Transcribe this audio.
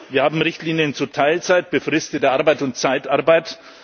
Wir haben Richtlinien zu Teilzeit, befristeter Arbeit und Zeitarbeit.